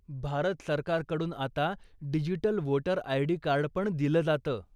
भारत सरकारकडून आता digital voter ID. कार्डपण दिलं जातं.